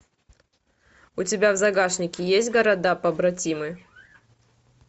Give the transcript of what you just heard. у тебя в загашнике есть города побратимы